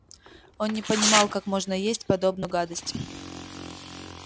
он не понимал как можно есть подобную гадость